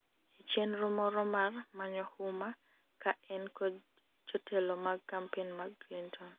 e chenro moro mar manyo huma ka en kod jotelo mag kampen mag Clinton